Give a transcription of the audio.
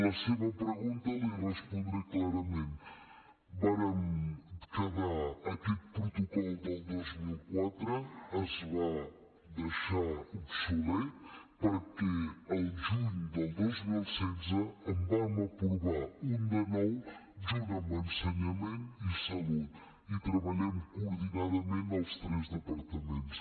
la seva pregunta la hi respondré clarament aquest protocol del dos mil quatre es va deixar obsolet perquè al juny del dos mil setze en vam aprovar un de nou junt amb ensenyament i salut i treballem coordinadament els tres departaments